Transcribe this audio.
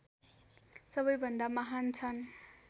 सबैभन्दा महान् छन्